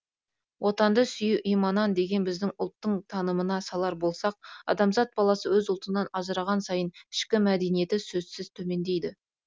отанды сүю иманан деген біздің ұлттың танымына салар болсақ адамзат баласы өз ұлтынан ажыраған сайын ішкі мәдениеті сөзсіз төмендейді